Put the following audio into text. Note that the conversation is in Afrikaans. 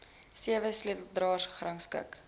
sewe sleutelareas gerangskik